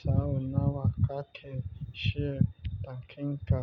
Sau nawa kake shiri da kinka?